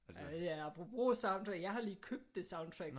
Ja altså apropos soundtracks jeg har lige købt det soundtrack